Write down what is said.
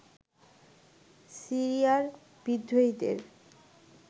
সিরিয়ার বিদ্রোহীদের